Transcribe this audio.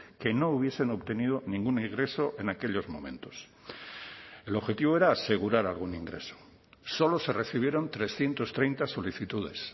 que no hubiesen obtenido ningún ingreso en aquellos momentos el objetivo era asegurar algún ingreso solo se recibieron trescientos treinta solicitudes